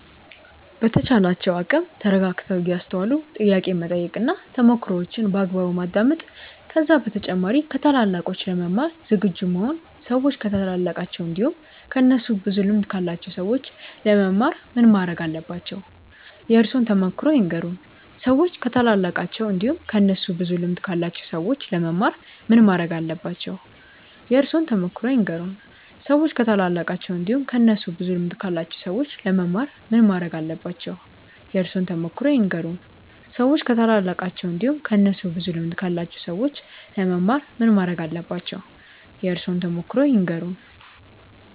በተቻላቸው አቅም ተረጋግተው እያስተዋሉ ጥያቄ መጠየቅ እና ተሞክሮዋቸውን በአግባቡ ማዳመጥ ከዛ በተጨማሪ ከታላላቆች ለመማር ዝግጁ መሆን ሰዎች ከታላላቃቸው እንዲሁም ከእነሱ ብዙ ልምድ ካላቸው ሰዎች ለመማር ምን ማረግ አለባቸው? የእርሶን ተሞክሮ ይንገሩን? ሰዎች ከታላላቃቸው እንዲሁም ከእነሱ ብዙ ልምድ ካላቸው ሰዎች ለመማር ምን ማረግ አለባቸው? የእርሶን ተሞክሮ ይንገሩን? ሰዎች ከታላላቃቸው እንዲሁም ከእነሱ ብዙ ልምድ ካላቸው ሰዎች ለመማር ምን ማረግ አለባቸው? የእርሶን ተሞክሮ ይንገሩን? ሰዎች ከታላላቃቸው እንዲሁም ከእነሱ ብዙ ልምድ ካላቸው ሰዎች ለመማር ምን ማረግ አለባቸው? የእርሶን ተሞክሮ ይንገሩን?